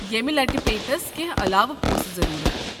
ییٚمہِ لٹہِ پیٚیہِ تس کٮ۪نٛہہ علاوٕ پونٛسہٕ ضروٗرت۔